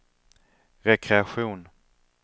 rekreation